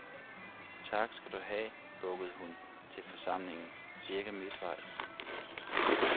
Tak, skal du have, bukkede hun til forsamlingen cirka midtvejs.